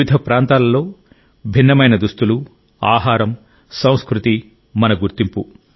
వివిధ ప్రాంతాలలో భిన్నమైన దుస్తులు ఆహారం సంస్కృతి మన గుర్తింపు